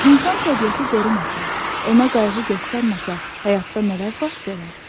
İnsan təbiəti qorumasa, ona qayğı göstərməsə, həyatda nələr baş verər?